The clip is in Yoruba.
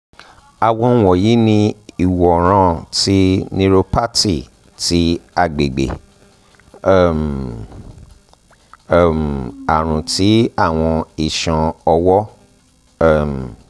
awọn wọnyi ni imọran ti neuropathy ti agbegbe - um um arun ti awọn iṣan ọwọ um